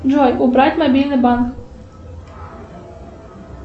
джой убрать мобильный банк